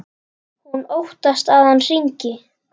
Hún óttast að hann hringi.